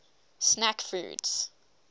snack foods